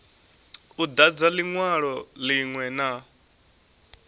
u dadza linwalo linwe na